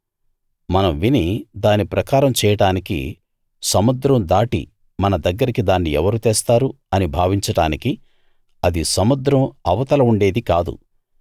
మనం విని దాని ప్రకారం చేయడానికి సముద్రం దాటి మన దగ్గరికి దాన్ని ఎవరు తెస్తారు అని భావించడానికి అది సముద్రం అవతల ఉండేదీ కాదు